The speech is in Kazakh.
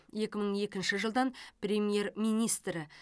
екі мың екінші жылдан премьер министрі